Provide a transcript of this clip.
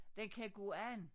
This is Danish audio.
Den kan gå an